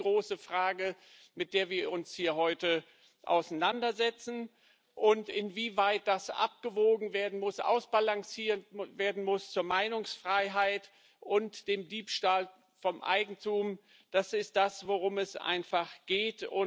Das ist die große Frage, mit der wir uns hier heute auseinandersetzen, und inwieweit das abgewogen werden muss, ausbalanciert muss werden muss zwischen Meinungsfreiheit und dem Diebstahl von Eigentum. Das ist das, worum es geht.